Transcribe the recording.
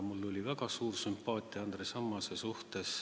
Mul oli väga suur sümpaatia Andres Ammase vastu.